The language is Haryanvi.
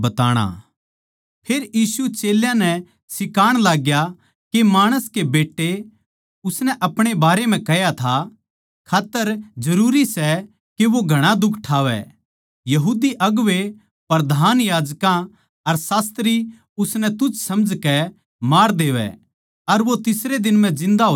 फेर यीशु चेल्यां नै सिखाण लाग्या के माणस कै बेट्टे उसनै आपणे बारें म्ह कह्या था खात्तर जरूरी सै के वो घणा दुख ठावै यहूदी अगुवें प्रधान याजकां अर शास्त्री उसनै तुच्छ समझकै मार देवैं अर वो तीसरे दिन म्ह जिन्दा होज्या